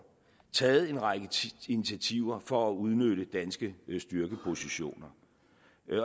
taget en række initiativer for at udnytte danske styrkepositioner